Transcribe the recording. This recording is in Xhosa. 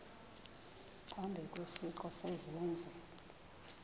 phambi kwesiqu sezenzi